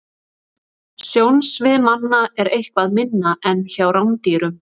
Sjónsvið manna er eitthvað minna en hjá rándýrum.